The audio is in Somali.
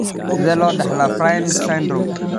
Sidee loo dhaxlaa Fryns syndrome?